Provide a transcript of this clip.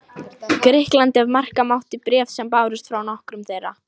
Grikklandi, ef marka mátti bréf sem bárust frá nokkrum þeirra.